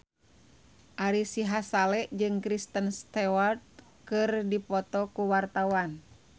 Ari Sihasale jeung Kristen Stewart keur dipoto ku wartawan